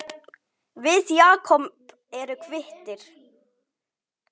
Við Jakob erum kvittir